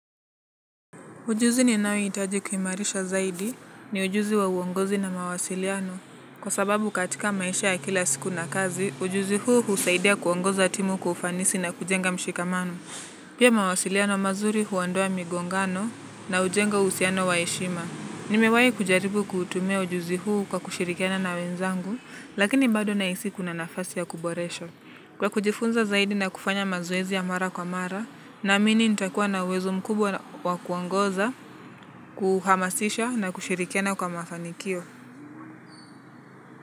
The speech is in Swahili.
Ujuzi ninayohitaji kuimarisha zaidi ni ujuzi wa uongozi na mawasiliano. Kwa sababu katika maisha ya kila siku na kazi, ujuzi huu husaidia kuongoza timu kwa ufanisi na kujenga mshikamano. Pia mawasiliano mazuri huondoa migongano na hujenga uhusiano wa heshima. Nimewahi kujaribu kutumia ujuzi huu kwa kushirikiana na wenzangu, lakini bado nahisi kuna nafasi ya kuboresha. Kwa kujifunza zaidi na kufanya mazoezi ya mara kwa mara, naamini nitakuwa na uwezo mkubwa wa kuongoza, kuhamasisha na kushirikiana kwa mafanikio.